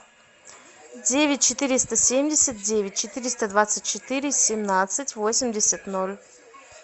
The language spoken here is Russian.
девять четыреста семьдесят девять четыреста двадцать четыре семнадцать восемьдесят ноль